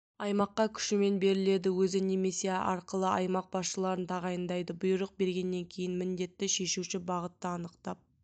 аймаққа күшімен беріледі өзі немесе арқылы аймақ басшыларын тағайындайды бұйрық бергеннен кейін міндетті шешуші бағытты анықтап